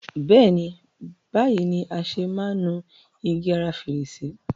Béèni, báyìí ni a ṣe máa ń nu igi ara fèrèsé.